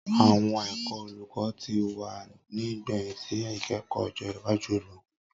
Awọn Ẹkọ Oluko ti wa ni igbẹhin si ikẹkọ ojo iwaju olukọ